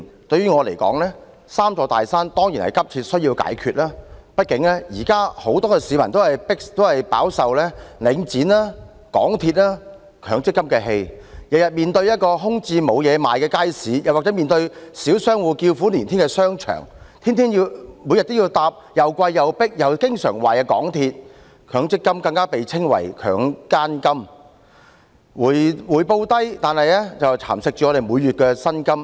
對我而言，"三座大山"當然急需解決，畢竟現時很多市民也飽受領展房地產投資信託基金、香港鐵路有限公司和強制性公積金的氣——每天面對一個空置、沒有東西可買的街市或小商戶叫苦連天的商場；每天要乘搭又貴、又迫、又經常壞的港鐵；強積金更被稱為"強姦金"，回報低但蠶食每月薪金。